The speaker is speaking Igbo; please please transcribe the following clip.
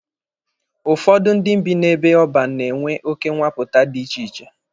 Ụfọdụ ndị bi n'ebe ọban na-enwe oke nwapụta dị iche iche.